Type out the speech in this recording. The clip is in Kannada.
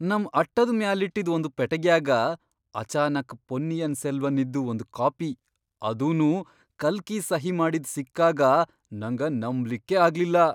ನಮ್ ಅಟ್ಟದ್ ಮ್ಯಾಲಿಟ್ಟಿದ್ ಒಂದ ಪೆಟಗ್ಯಾಗ ಅಚಾನಕ್ ಪೊನ್ನಿಯಿನ್ ಸೆಲ್ವನ್ನಿನ್ದು ಒಂದ್ ಕಾಪಿ ಅದೂನೂ ಕಲ್ಕಿ ಸಹಿ ಮಾಡಿದ್ ಸಿಕ್ಕಾಗ ನಂಗ ನಂಬ್ಲಿಕ್ಕೇ ಆಗ್ಲಿಲ್ಲಾ!